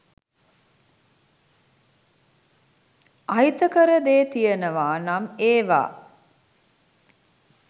අහිතකර දේ තියනවා නම් එවා